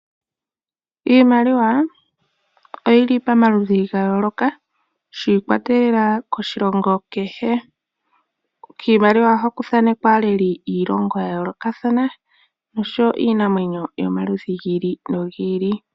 Iimaliwa oyili pamaludhi gayooloka shiikwatelela koshilongo kehe, kiimaliwa ohaku thaanekwa aaleli yayoolokathana, nosho woo iinamwenyo yomaludhi giili nogiili.